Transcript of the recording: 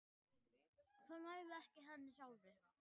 Og það nægði ekki henni sjálfri.